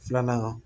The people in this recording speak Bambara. Filanan